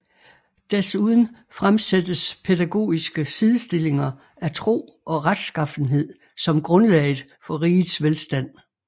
Desuden fremsættes pædagogiske sidestillinger af tro og retsskaffenhed som grundlaget for rigets velstand